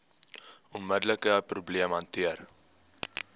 onmiddelike probleem hanteer